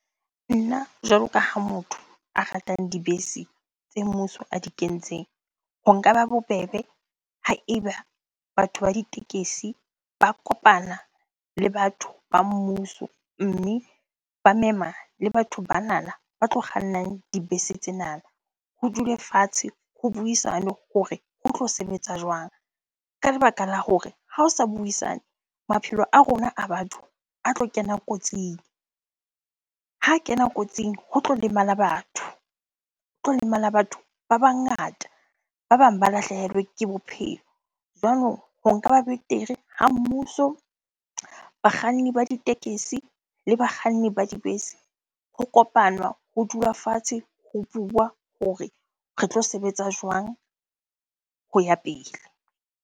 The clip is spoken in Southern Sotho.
Nna jwalo ka ha motho a ratang dibese tse mmuso a di kentseng. Ho nka ba bobebe ha eba batho ba ditekesi ba kopana le batho ba mmuso. Mme ba mema le batho banana ba tlo kgannang dibese tsena. Ho dule fatshe, ho buisanwe hore ho tlo sebetsa jwang? Ka lebaka la hore ha o sa buisane, maphelo a rona a batho a tlo kena kotsing. Ha a kena kotsing ho tlo lemala batho, ho tlo lemala batho ba bangata, ba bang ba lahlehelwe ke bophelo. Jwalo ho nka ba betere ha mmuso, bakganni ba ditekesi le bakganni ba dibese ho kopanwa, ho dula fatshe, ho bua hore re tlo sebetsa jwang ho ya pele?